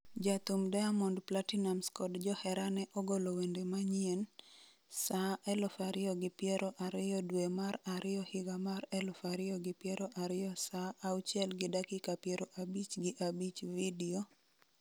Jathum Diamond Platnumz kod jaherane ogolo wende manyien, Saa 2,0020 dwe mar ariyo higa mar 2020 saa 0:55 Video,